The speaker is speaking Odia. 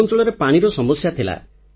ଆମ ଅଂଚଳରେ ପାଣିର ସମସ୍ୟା ଥିଲା